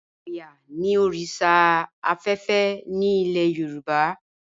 Ọ̀yá ni oríṣà afẹ́fẹ́ ni ilẹ̀ Yorùbá.